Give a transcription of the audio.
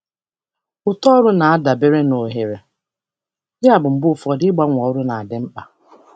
Uto ọrụ na-adabere na ohere, yabụ mgbe ụfọdụ ịgbanwe ọrụ na-adị mkpa.